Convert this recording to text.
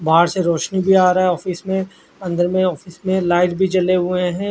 बहार से रौशनी भी आ रहा है ऑफिस में अनदर में ऑफिस में लाइट भी जले हुए है।